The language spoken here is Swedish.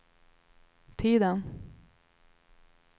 tiden